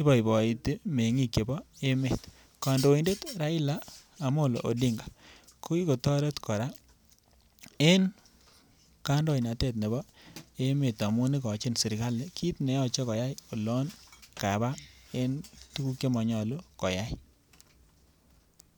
iboiboiti meng'ik chepo emet kandoindet Raila Amolo odinga kokikotoret kora en kandoinatet nepo emet amun ikochin serikali kit neyo koya olon kapaa en tukuk chemonyolu koyai.